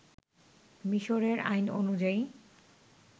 মিশরের আইন অনুযায়ী